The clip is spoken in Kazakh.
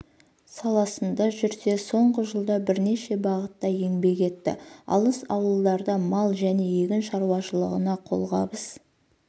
саласында жүрсе соңғы жылда бірнеше бағытта еңбек етті алыс ауылдарда мал және егін шаруашылығына қолғабыс